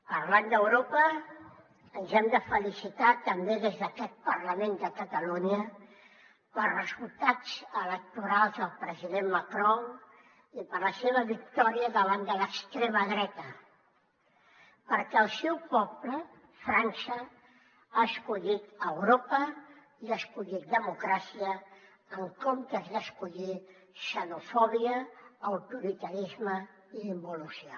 parlant d’europa ens hem de felicitar també des d’aquest parlament de catalunya pels resultats electorals del president macron i per la seva victòria davant de l’extrema dreta perquè el seu poble frança ha escollit europa i ha escollit democràcia en comptes d’escollir xenofòbia autoritarisme i involució